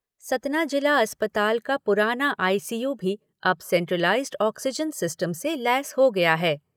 सतना जिला अस्पताल का पुराना आईसीयू भी अब सेंट्रलाइज़्ड ऑक्सीजन सिस्टम से लैस हो गया है।